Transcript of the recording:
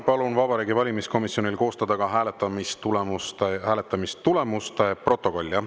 Palun Vabariigi Valimiskomisjonil koostada ka hääletamistulemuste protokoll.